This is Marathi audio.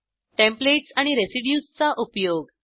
टेम्पलेट्स आणि रेसिड्यूज चा उपयोग